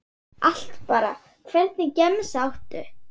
Allt bara Hvernig gemsa áttu?